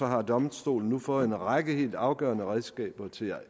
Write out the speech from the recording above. har domstolen nu fået en række helt afgørende redskaber til at